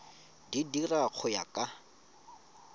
di dira go ya ka